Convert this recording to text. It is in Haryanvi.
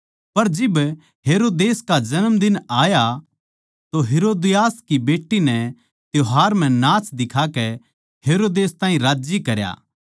पर जिब हेरोदेस का जन्मदिन आया तो हेरोदियास की बेट्टी नै त्यौहार म्ह नाच दिखाकै हेरोदेस ताहीं राज्जी करया